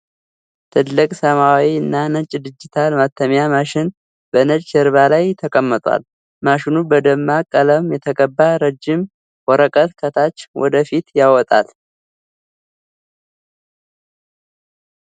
ትልቅ ሰማያዊ እና ነጭ ዲጂታል ማተሚያ ማሽን በነጭ ጀርባ ላይ ተቀምጧል። ማሽኑ በደማቅ ቀለም የተቀባ ረጅም ወረቀት ከታች ወደ ፊት ያወጣል።